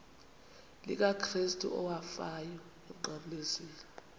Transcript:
likakrestu owafayo emnqamlezweni